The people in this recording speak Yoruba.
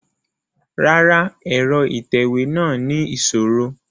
Rárá, ẹrọ itẹwe náa ni iṣoro